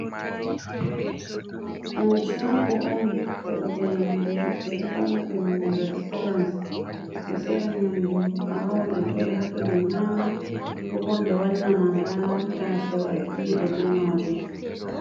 Ɗum chago on sorugo nyamdu ɓe ɗo yona ɗum restorans, ɓe ɗo sora nyamdu a wawan a joɗa hatton a nyama, ko bo ɓe wanna ma ha tasau a dilida be majum.